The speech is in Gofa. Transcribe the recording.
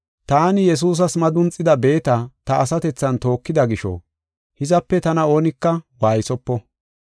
Taani Yesuusas madunxida beeta ta asatethan tookida gisho, hizape tana oonika waaysopo.